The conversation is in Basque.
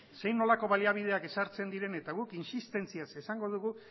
zein nolako baliabideak ezartzen diren eta guk insistentziaz esango dugu